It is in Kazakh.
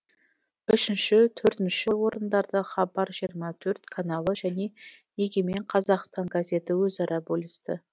үшінші төртінші орындарды хабар жиырма төрт каналы және егемен қазақстан газеті өзара бөлісті